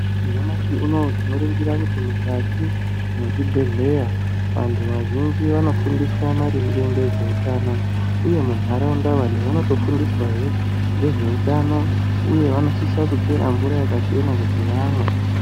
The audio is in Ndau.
Nyamashi unowu tinoningira kuti mukati mezvibhedhlera vantu vazhinji vanofundiswa maringe nezvehutano uyehe mundaraunda vantu vanotofundiswa nezvehutano uye vanosisa kuchera mvura yakachena kuti vamwe.